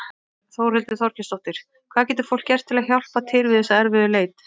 Þórhildur Þorkelsdóttir: Hvað getur fólk gert til að hjálpa til við þessa erfiðu leit?